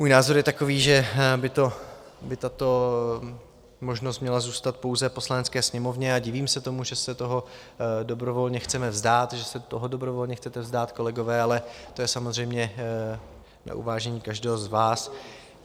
Můj názor je takový, že by tato možnost měla zůstat pouze Poslanecké sněmovně, a divím se tomu, že se toho dobrovolně chceme vzdát, že se toho dobrovolně chcete vzdát, kolegové, ale to je samozřejmě na uvážení každého z vás.